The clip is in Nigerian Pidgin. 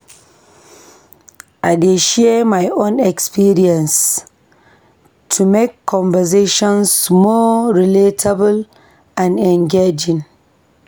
I dey share my own experiences to make conversations more relatable and engaging.